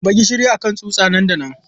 Zuba gishiri a kan tsutsa nan da nan!